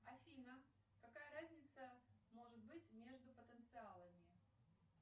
афина какая разница может быть между потенциалами